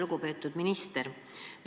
Lugupeetud minister!